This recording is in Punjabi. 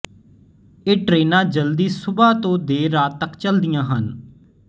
ਇਹ ਟ੍ਰੇਨਾ ਜਲਦੀ ਸੁਬਹ ਤੋ ਦੇਰ ਰਾਤ ਤੱਕ ਚੱਲਦੀਆ ਹਨ